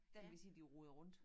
Der kan vi sige de roder rundt